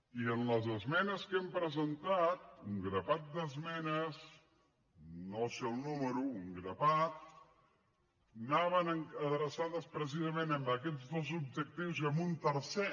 i les esmenes que hem presentat un grapat d’esmenes no en sé el nombre un grapat anaven adreçades precisament a aquests dos objectius i a un tercer